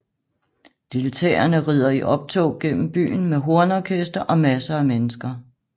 Deltagerne rider i optog gennem byen med hornorkester og masser af mennesker